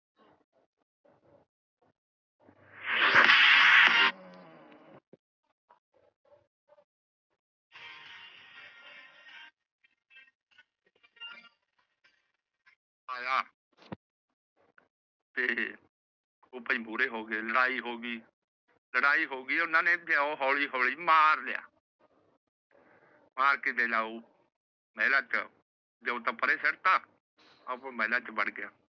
ਉਹ ਭਾਈ ਮੂਹਰੇ ਹੋ ਗਏ ਲੜਾਈ ਹੋ ਗਈ। ਲੜਾਈ ਹੋ ਗਈ ਓਹਨਾ ਨੇ ਦਿਓ ਹੋਲੀ ਹੋਲੀ ਮਾਰ ਲਿਆ। ਮਾਰ ਕੇ ਉਹ ਦਿਓ ਤਾਂ ਪਰੇ ਸੁੱਟਤਾ ਤੇ ਆਪ ਉਹ ਮਹਿਲਾਂ ਚ ਵੜ ਗਿਆ।